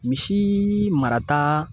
Misi marata